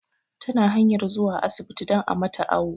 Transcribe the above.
Ta na hanyar zuwa asibti don a mata awu